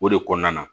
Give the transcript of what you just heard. O de kɔnɔna na